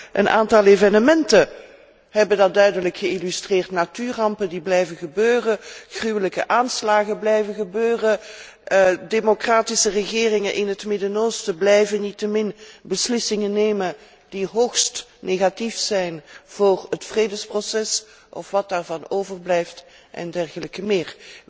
Maar ook een aantal evenementen hebben dat duidelijk geïllustreerd natuurrampen die blijven gebeuren, gruwelijke aanslagen blijven gebeuren, democratische regeringen in het Midden Oosten blijven niettemin beslissingen nemen die hoogst negatief zijn voor het vredesproces, of wat daarvan overblijft, en dergelijke meer.